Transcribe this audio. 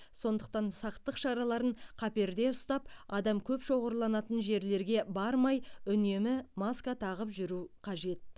сондықтан сақтық шараларын қаперде ұстап адам көп шоғырланатын жерлерге бармай үнемі маска тағып жүру қажет